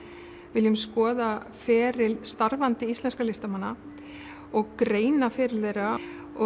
viljum skoða feril starfandi íslenskra listamanna og greina feril þeirra